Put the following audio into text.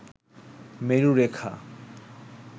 মেরু রেখা